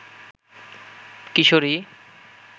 কিশোরী